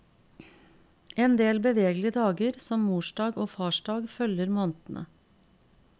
En del bevegelige dager som mordag og farsdag følger månedene.